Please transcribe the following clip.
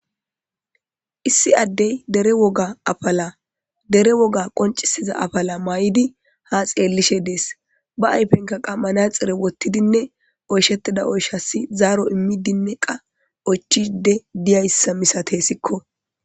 Issi addey dere woga afala dere woga qoncisiza afala mayidi ha xeellishe dees ba ayfenka qa manaxire wottidinne oyshettida oyshassi zaaro immidinne qa ochide diyayssa misatesikko